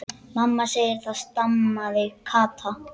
Mamma segir það, stamaði Kata.